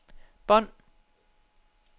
bånd